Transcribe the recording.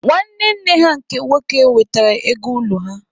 Nwanne nne ha nke nwoke wetere ego ụlọ ha.